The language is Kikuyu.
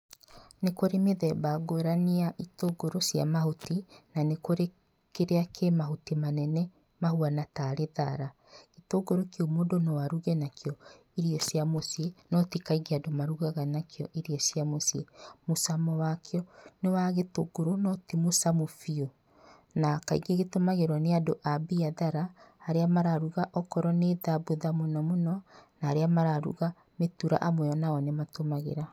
Nĩ kũrĩ mĩthemba ngũrani ya itungũrũ cia mahuti, na nĩkũrĩ kĩrĩa kĩmahuti manene mahuana tarĩ thara, itũngũrũ kĩu no aruge nakĩo irio cia mũciĩ no tikaingĩ andũ marugaga nakĩo irio cia mũciĩ. Mũcamo wakĩo nĩ wa gĩtũngũrũ no tĩ mũcamo biũ na kaingĩ gĩtũmagĩrwo nĩ andũ abiathara arĩa mararuga okorwo nĩ thabutha mũnomũno na aria mararuga mĩtura amwe nao nĩmatũmagĩra .